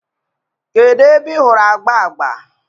kedu ebe ị hụrụ agba agba?